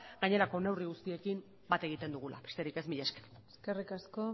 gainerako neurri guztiekin bat egiten dugula besterik ez mila esker eskerrik asko